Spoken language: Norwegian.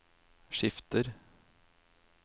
skifter